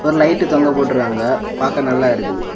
Light தொங்க போட்ருகாங்க பாக்க நல்லா இருக்குது.